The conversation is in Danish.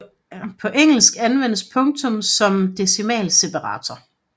På engelsk anvendes punktum som decimalseparator